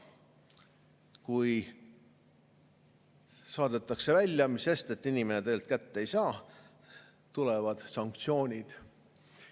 Kui saadetakse välja, mis sest, et inimene tegelikult kätte ei saa, tulevad sanktsioonid.